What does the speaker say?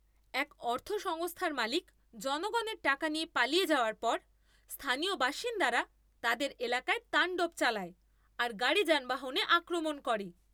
এক অর্থ সংস্থার মালিক জনগণের টাকা নিয়ে পালিয়ে যাওয়ার পর, স্থানীয় বাসিন্দারা তাদের এলাকায় তাণ্ডব চালায় আর গাড়ি যানবাহনে আক্রমণ করে।